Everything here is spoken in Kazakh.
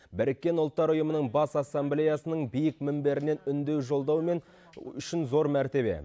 біріккен ұлттар ұйымының бас ассамблеясының биік мінберінен үндеу жолдау мен үшін зор мәртебе